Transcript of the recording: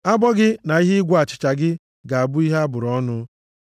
Abọ gị na ihe ịgwọ achịcha gị ga-abụ ihe a bụrụ ọnụ.